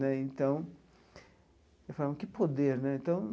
Né então falei, que poder né então!